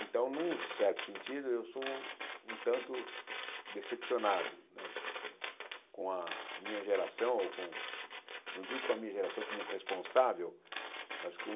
Então, num certo sentido, eu sou um tanto decepcionado né com a minha geração, ou não digo com a minha geração como responsável, mas com...